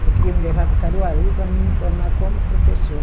Ela queria me levar para Caruaru para me formar como professora.